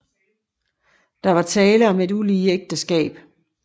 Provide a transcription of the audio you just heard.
Der var tale en et ulige ægteskab